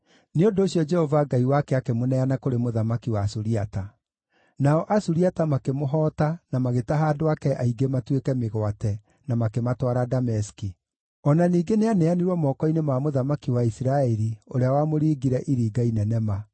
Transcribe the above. Nĩ ũndũ ũcio Jehova Ngai wake akĩmũneana kũrĩ mũthamaki wa Suriata. Nao Asuriata makĩmũhoota na magĩtaha andũ ake aingĩ matuĩke mĩgwate, na makĩmatwara Dameski. O na ningĩ nĩaneanirwo moko-inĩ ma mũthamaki wa Isiraeli ũrĩa wamũringire iringa inene ma.